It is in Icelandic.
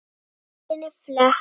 Bókinni flett.